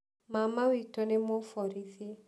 Mama witũ nĩ mũborithi.